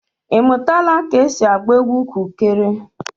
Ị mụtala ka esi agba egwu kukere?